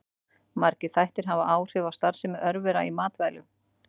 Margir þættir hafa áhrif á starfsemi örvera í matvælum.